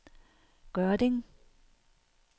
Gørding